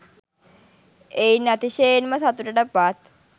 එයින් අතිශයෙන්ම සතුටට පත්